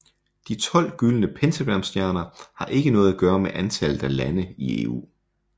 De 12 gyldne pentagramstjerner har ikke noget at gøre med antallet af lande i EU